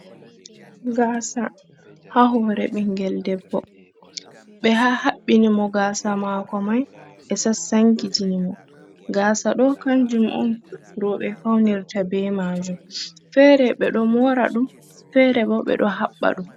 Gasa ha hore ɓingel debbo ɓe ha haɓɓini mo gasa mako mai ɓe sasankitini mo, gaasa ɗo kanjum on roɓɓe faunirta be majum fere be ɗo mora ɗum fere bo ɓe ɗo haɓɓa ɗum.